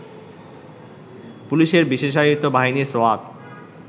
পুলিশের বিশেষায়িত বাহিনী সোয়াত